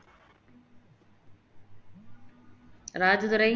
Rajadurai